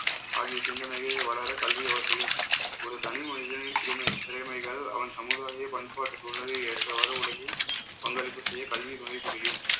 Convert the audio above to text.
ஆகிய சிந்தனையே வளர கல்வி அவசியம். ஒரு தனி மனிதனின் திமை~ திறமைகள் அவன் சமுதாய பண்பாட்டு சூழலை ஏற்றவாறு உலகில் பங்களிப்பு செய்ய கல்வி துணை புரியும்.